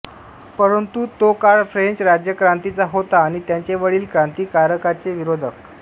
परंतु तो काळ फ्रेंच राज्यक्रांतीचा होता आणि त्यांचे वडील क्रांतिकारकांचे विरोधक